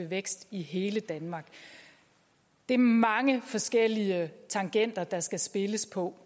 vækst i hele danmark det er mange forskellige tangenter der skal spilles på